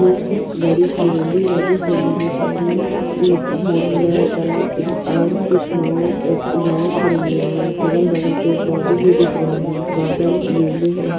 एक बड़ी-सी नदी है जिस नदी मे पानी इ भरा हुआ है तालाब आ और कुछ नाव अ नाव खड़े हुए है अगल-बगल पेड़-पौधे भी दिख रहे है बादल नीले है।